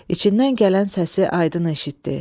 İçindən gələn səsi aydın eşitdi.